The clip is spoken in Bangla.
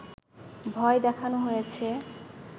ভয় দেখানো হয়েছে